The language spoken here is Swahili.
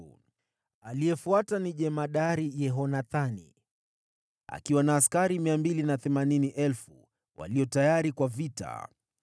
aliyefuata ni jemadari Yehohanani, akiwa na askari 280,000 walio tayari kwa vita;